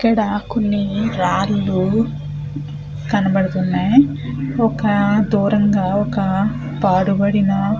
ఇక్కడ కొన్ని రాళ్లు కనబడుతున్నాయి ఒక దూరంగా ఒక పాడుబడిన --